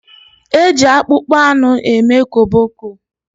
Eji akpụkpọanụ eme koboko.